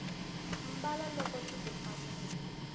mbala loko swiku fanela